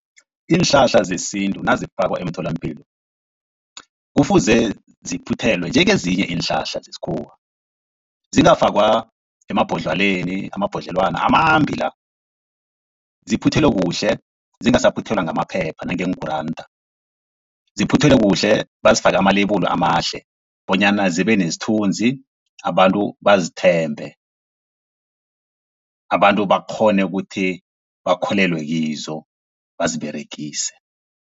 Iinhlahla zesintu nazifakwa emtholampilo kufuze ziphuthelwe njengezinye iinhlahla zesikhuwa, zingafakwa emabhodlelweni amabhodlelwana amambi la. Ziphuthelwe kuhle zingasaphuthelwa ngamaphepha nangeenguranda, ziphuthelwe kuhle bazifake ama-label amahle bonyana zibe nesithunzi, abantu bazithembe, abantu bakghone ukuthi bakholelwe kizo baziberegise.